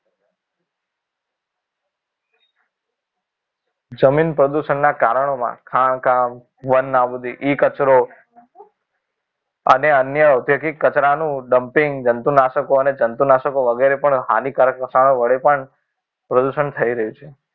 જમીન પ્રદૂષણના કારણે મા ખાણ કામ વન નાબૂદી E કચરો અને અન્ય ઔદ્યોગિક કચરાનું dumping જંતુનાશકો અને જંતુનાશક વગેરે પણ હાનિકારક વહાણો વડે પણ પ્રદૂષણ થઈ રહ્યું છે